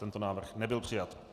Tento návrh nebyl přijat.